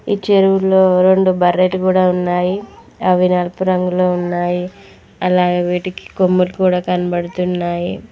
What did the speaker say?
ఈ చెరువులో రెండు బర్రెలు కూడా ఉన్నాయి అవి నలుపు రంగంలో ఉన్నాయి అలాగే వీటికి కొమ్ములు కూడా కనబడుతున్నాయి.